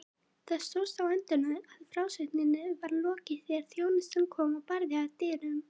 Það stóðst á endum að frásögninni var lokið þegar þjónustan kom og barði að dyrum.